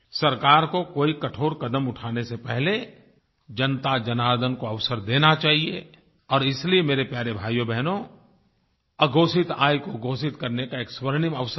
सरकार को कोई कठोर कदम उठाने से पहले जनताजनार्दन को अवसर देना चाहिए और इसलिए मेरे प्यारे भाइयोबहनो अघोषित आय को घोषित करने का एक स्वर्णिम अवसर है